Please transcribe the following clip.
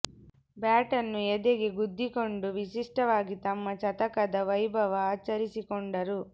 bat ನ್ನು ಎದೆಗೆ ಗುದ್ದಿಕೊಂಡು ವಿಶಿಷ್ಟವಾಗಿ ತಮ್ಮ ಶತಕದ ವೈಭವ ಆಚರಿಸಿಕೊಂಡರು